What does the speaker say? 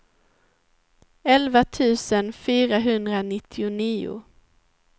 elva tusen fyrahundranittionio